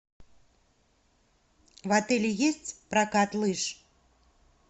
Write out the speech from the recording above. в отеле есть прокат лыж